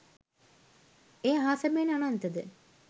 එය අහස මෙන් අනන්ත ද